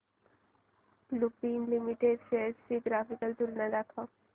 Lupin limited shares ची graphical तुलना दाखव